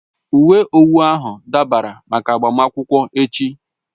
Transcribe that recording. Uwe owu ahụ dabara máká agbamakwụkwọ echi